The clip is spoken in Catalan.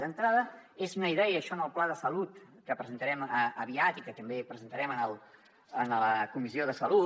d’entrada és una idea això en el pla de salut que presentarem aviat i que també presentarem a la comissió de salut